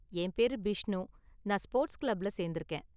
என் பேரு பிஷ்ணு, நான் ஸ்போர்ட்ஸ் கிளப்ல சேர்ந்திருக்கேன்.